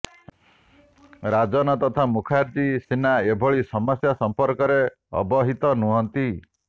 ରାଜନ ତଥା ମୁଖାର୍ଜୀ ସିନା ଏଭଳି ସମସ୍ୟା ସଂପର୍କରେ ଅବହିତ ନୁହନ୍ତି